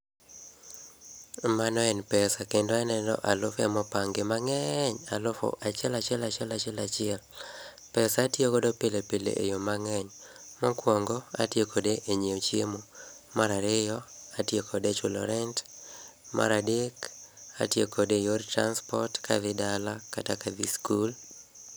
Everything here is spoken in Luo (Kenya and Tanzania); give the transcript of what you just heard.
Mano en pesa kendo aneno alufe mopangi mang'eny alufu achiel achiel achiel. Pesa atiogodo pilepile e yoo mang'eny. Mokwongo, atio kode e nyieo chiemo marario, atio kode e chulo rent maradek, atio kode e yor transport kadhi dala kata kadhi skul.